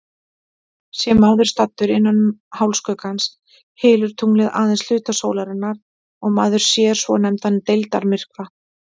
Sé maður staddur innan hálfskuggans, hylur tunglið aðeins hluta sólarinnar og maður sér svonefndan deildarmyrkva.